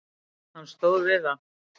Hann stóð við það.